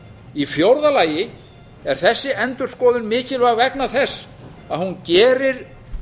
í fjórða lagi er þessi endurskoðun mikilvæg vegna þess að hún gerir